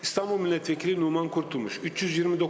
İstanbul millət vəkili Numan Qurtulmuş, 329 səs.